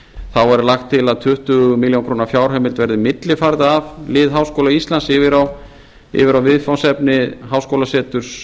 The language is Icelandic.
þá er lagt til að tuttugu milljónir króna fjárheimild verði millifærð af lið háskóla íslands yfir á viðfangsefni háskólasetursins